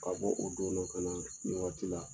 Ka bɔ o don na ka na nin wagati la